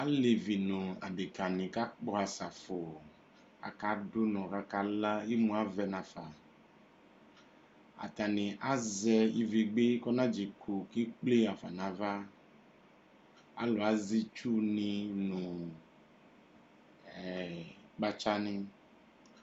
Alevi nʋ adekani kakpɔ asafu akadʋ ʋnɔ kʋ akala imʋ avɛ nafa atani azɛ ivegbe kʋ anadzekʋ kʋ ekple yɔxafa nʋ ava alʋ azɛ itsuni nʋ kpatsani